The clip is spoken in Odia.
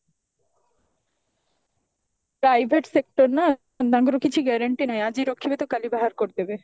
private sector ନା ତ ତାଙ୍କର କିଛି guarantee ନାହିଁ ଆଜି ରଖିବେ ତ କାଲି ବାହାର କରିଦେବେ